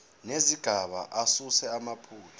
nezigaba asuse amaphutha